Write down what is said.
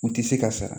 U tɛ se ka sara